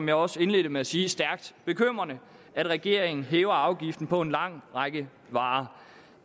jeg også indledte med at sige stærkt bekymrende at regeringen hæver afgiften på en lang række varer